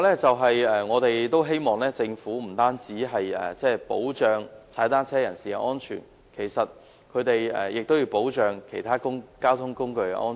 此外，我們希望政府不單要保障踏單車人士的安全，也要保障其他交通工具的安全。